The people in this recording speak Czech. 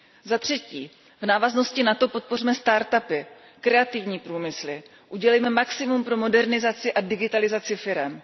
Zatřetí, v návaznosti na to podpořme start upy, kreativní průmysly, udělejme maximum pro modernizaci a digitalizaci firem.